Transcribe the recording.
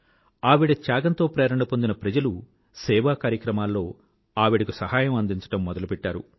ఆవిడ త్యాగంతో ప్రేరణ పొందిన ప్రజలు సేవా కార్యక్రమాల్లో ఆవిడకు సహాయం అందించడం మొదలుపెట్టారు